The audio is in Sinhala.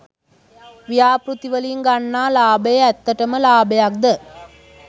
ව්‍යාපෘති වලින් ගන්නා ලාභය ඇත්තටම ලාභයක්ද?